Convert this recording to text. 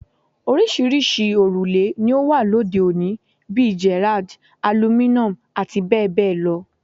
Oríṣiríṣi òrùlé ni ó wà lóde òní bíi Gerrard, Aluminum àti bẹ́ẹ̀ bẹ́ẹ̀ lọ